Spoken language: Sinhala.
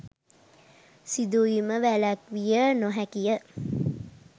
සිදුවීම වැළැක්විය නො හැකිය.